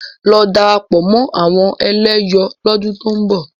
Lọ darapọ̀ mọ́ àwọn ẹlẹ́yọ̀ lọ́dún tó ń bọ̀!